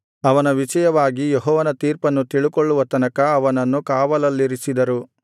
ಅವನ ವಿಷಯವಾಗಿ ಯೆಹೋವನ ತೀರ್ಪನ್ನು ತಿಳುಕೊಳ್ಳುವ ತನಕ ಅವನನ್ನು ಕಾವಲಲ್ಲಿರಿಸಿದರು